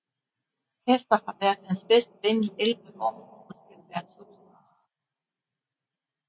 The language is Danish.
Casper har været hans bedste ven i 11 år og skal være toastmaster